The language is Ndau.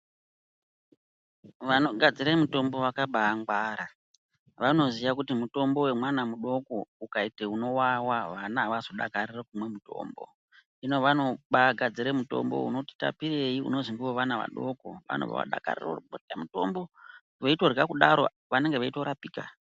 Vanogadzire mutombo vakaba ngwara, vanoziya kuti mutombo wemwana mudoko ukaite unowawa vana havazodakariri kumwa mutombo hino vanobagadzire mutombo unoti tapirei unozi ngowevana vadoko vanobva vadakarire kuti mutombo veitorya kudaro vanonge veitorapika.